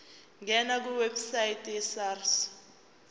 ngena kwiwebsite yesars